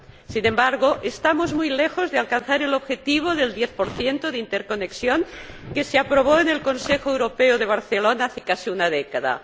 Sin embargo, estamos muy lejos de alcanzar el objetivo del 10 de interconexión que se aprobó en el Consejo Europeo de Barcelona hace casi una década.